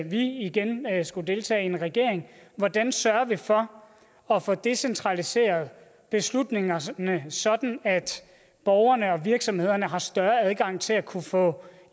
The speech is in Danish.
vi igen skulle deltage i en regering hvordan sørger vi for at få decentraliseret beslutningerne sådan sådan at borgerne og virksomhederne har større adgang til at kunne få